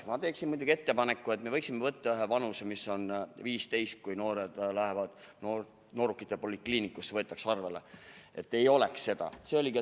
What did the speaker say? Ma teeksin muidugi ettepaneku, et me võiksime võtta ühe vanuse, mis on 15, kui kunagi noored läksid noorukite polikliinikusse ja võeti seal arvele.